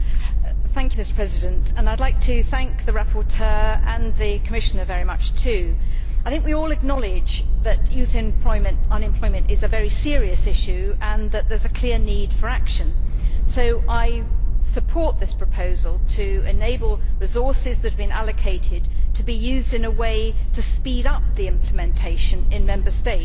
Mr President, I would like to thank the rapporteur and the Commissioner very much too. I think we all acknowledge that youth unemployment is a very serious issue and that there is a clear need for action, so I support this proposal to enable resources that have been allocated to be used in a way to speed up the implementation in Member States.